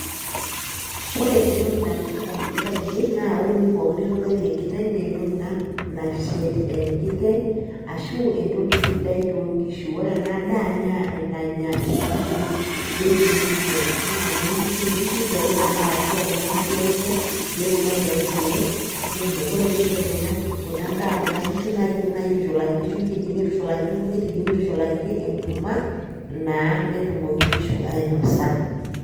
Ore entoki nalotu ndamunot ainei naa ore ewuei pookin nitodolie enkiteng' nee entoki ina nashet enkiteng' ashu entoki sidai too nkishu. Ore ena daa naa enanya inkishu dairy minerals naa inoo nkishu, nkishu ishori kuna arashu aa kuna kishu e kule peetum aitayu kule kumok. Kore piishorik kuna ki kuna daa kuna kishu naake iidimi nai aitushulakiti shumbi, idimi aitushulakiti nkujit, idimi aitushulakiti enkurma naa netumoki nkishu ainosa.